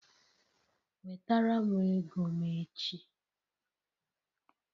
Wetara m ego m echi!